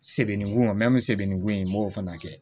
Sebeningu sɛbɛnni ko in n b'o fana kɛ